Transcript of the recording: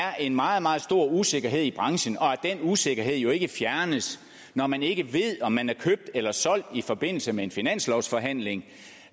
er en meget meget stor usikkerhed i branchen og at den usikkerhed jo ikke fjernes når man ikke ved om man er købt eller solgt i forbindelse med en finanslovsforhandling